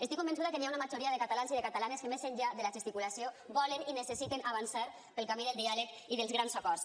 estic convençuda que hi ha una majoria de catalans i de catalanes que més enllà de la gesticulació volen i necessiten avançar pel camí del diàleg i dels grans acords